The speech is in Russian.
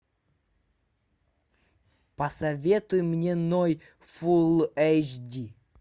посоветуй мне ной фулл эйч ди